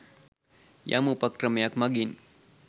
යම් උපක්‍රමයක් මඟින්